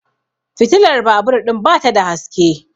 fitilar babur ɗin ba ta da haske